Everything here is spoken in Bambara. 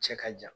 Cɛ ka jan